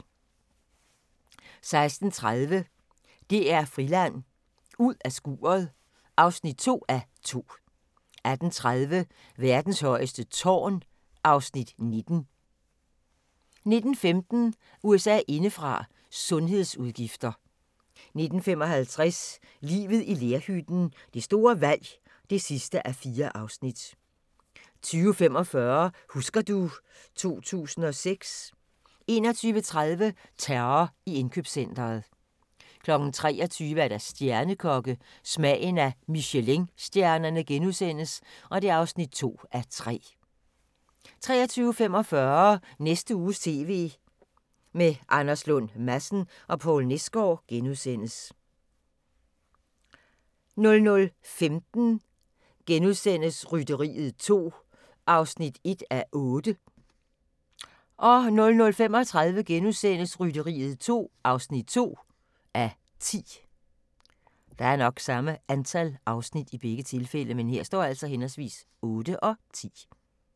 16:30: DR-Friland: Ud af skuret (2:2) 18:30: Verdens højeste tv-tårn (Afs. 19) 19:15: USA indefra: Sundhedsudgifter 19:55: Livet i lerhytten – det store valg (4:4) 20:45: Husker du ... 2006 21:30: Terror i indkøbscentret 23:00: Stjernekokke – Smagen af Michelinstjernerne (2:3)* 23:45: Næste uges TV med Anders Lund Madsen og Poul Nesgaard * 00:15: Rytteriet 2 (1:8)* 00:35: Rytteriet 2 (2:10)*